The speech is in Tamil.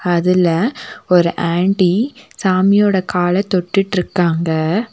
அதுல ஒரு ஆன்ட்டி சாமியோட கால தொட்டுட்டிருக்காங்க.